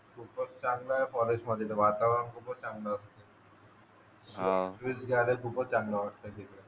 खूपच चांगला आहे फॉरेस्ट मध्ये वातावरण खूपच चांगलं असतं वीस झाडे खूपच चांगलं वाटते ते